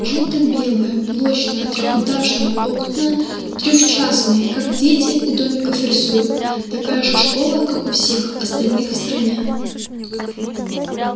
желто-белая блочная трёхэтажная окна трёхчастный как дети у домиков рисуют такая же школа как у всех остальных в стране